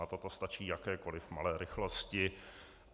Na toto stačí jakékoliv malé rychlosti.